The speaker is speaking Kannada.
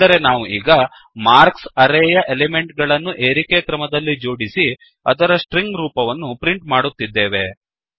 ಅಂದರೆ ನಾವು ಈಗ ಮಾರ್ಕ್ಸ್ ಅರೇಯ ಎಲಿಮೆಂಟ್ ಗಳನ್ನು ಏರಿಕೆಕ್ರಮದಲ್ಲಿ ಜೋಡಿಸಿ ಅದರ ಸ್ಟ್ರಿಂಗ್ ರೂಪವನ್ನು ಪ್ರಿಂಟ್ ಮಾಡುತ್ತಿದ್ದೇವೆ